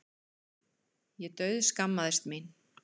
Ég dauðskammaðist mín.